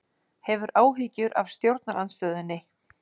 Hefur áhyggjur af stjórnarandstöðunni